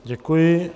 Děkuji.